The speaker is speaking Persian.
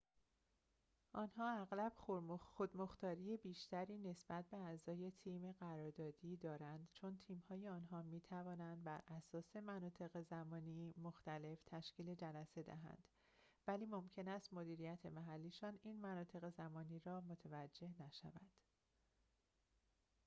آنها اغلب خود‌مختاری بیشتری نسبت به اعضای تیم قراردادی دارند چون تیم‌های آنها می‌توانند براساس مناطق زمانی مختلف تشکیل جلسه دهند ولی ممکن است مدیریت محلی‌شان این مناطق زمانی را متوجه نشود